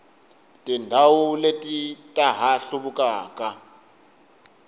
tindhawu leti ta ha hluvukaka